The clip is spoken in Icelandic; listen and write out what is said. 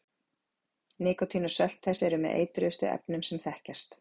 nikótín og sölt þess eru með eitruðustu efnum sem þekkjast